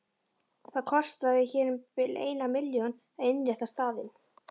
Það kostaði hér um bil eina milljón að innrétta staðinn.